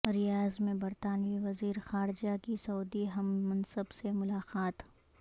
ریاض میں برطانوی وزیر خارجہ کی سعودی ہم منصب سے ملاقات